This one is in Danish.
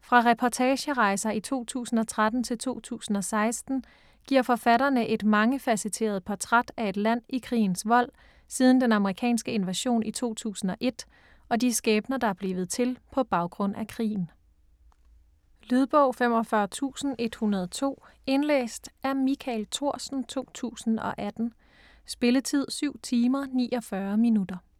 Fra reportagerejser i 2013 og 2016 giver forfatterne et mangefacetteret portræt af et land i krigens vold, siden den amerikanske invasion i 2001, og de skæbner der er blevet til på baggrund af krigen. Lydbog 45102 Indlæst af Michael Thorsen, 2018. Spilletid: 7 timer, 49 minutter.